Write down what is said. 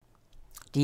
DR1